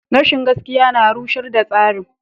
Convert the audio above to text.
Rashin gaskiya na rushar da tsarin.